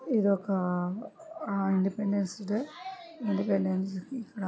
ఇదొకా ఆ independence day . Independence ఇక్కడ --